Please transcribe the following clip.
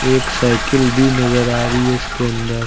एक साइकिल भी नजर आ रही है इसके अंदर।